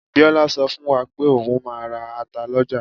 Biola sọ fún wa pe oun máa ra ata lọ́jà.